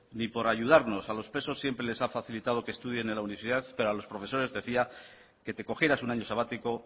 ni por ayudarnos a los presos siempre les ha facilitado que estudien en la universidad pero a los profesores decía que te cogieras un año sabático